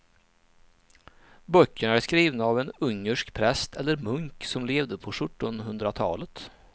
Böckerna är skrivna av en ungersk präst eller munk som levde på sjuttonhundratalet.